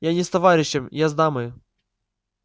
я не с товарищем я с дамою